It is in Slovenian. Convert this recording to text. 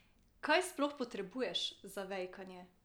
Kaj sploh potrebuješ za vejkanje?